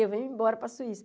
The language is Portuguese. Eu venho embora para a Suíça.